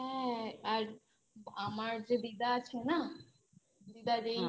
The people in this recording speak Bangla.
হ্যা আর আমার যে দিদা আছে না দিদার এই